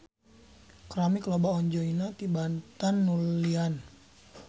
Keramik loba onjoyna tibatan nulian.